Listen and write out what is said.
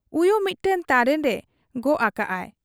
ᱩᱭᱩ ᱢᱤᱫᱴᱟᱹᱝ ᱛᱟᱨᱮᱱ ᱨᱮ ᱜᱚᱜ ᱟᱠᱟᱜ ᱟᱭ ᱾